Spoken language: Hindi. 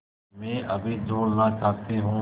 मैं अभी झूलना चाहती हूँ